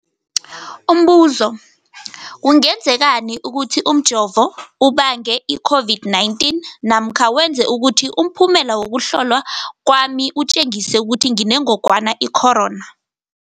Umbuzo, kungenzekana ukuthi umjovo ubange i-COVID-19 namkha wenze ukuthi umphumela wokuhlolwa kwami utjengise ukuthi nginengogwana i-corona?